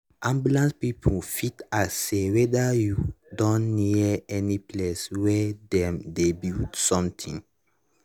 ambulance people fit ask say wether you don near any place wey dem dey build somthing.